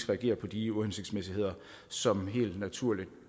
reagere på de uhensigtsmæssigheder som helt naturligt